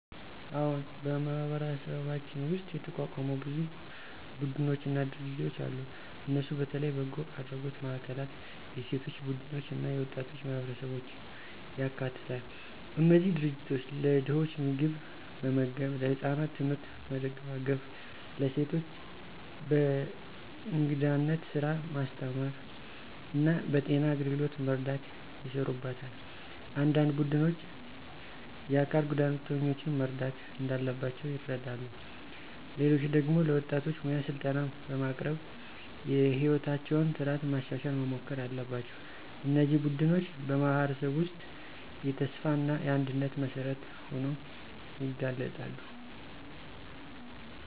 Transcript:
አዎን፣ በማህበረሰባችን ውስጥ የተቋቋሙ ብዙ ቡድኖችና ድርጅቶች አሉ። እነሱ በተለይ በጎ አድራጎት ማዕከላት፣ የሴቶች ቡድኖች እና የወጣቶች ማህበረሰቦችን ያካትታሉ። እነዚህ ድርጅቶች ለድኾች ምግብ መመገብ፣ ለህፃናት ትምህርት መደጋገፍ፣ ለሴቶች በእንግዳነት ስራ ማስተማር እና በጤና አገልግሎት መርዳት ይሰሩበታል። አንዳንድ ቡድኖች የአካል ጉዳተኞችን መርዳት እንዳለባቸው ይረዱ፣ ሌሎች ደግሞ ለወጣቶች ሙያ ስልጠና በማቅረብ የሕይወታቸውን ጥራት ማሻሻል መሞከር አለባቸው። እነዚህ ቡድኖች በማህበረሰብ ውስጥ የተስፋ እና የአንድነት መሠረት ሆነው ይገለጣሉ።